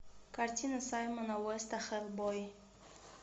картина саймона уэста хеллбой